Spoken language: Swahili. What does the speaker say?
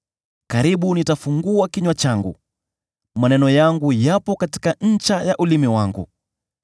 Karibu nitafungua kinywa changu; maneno yangu yapo katika ncha ya ulimi wangu.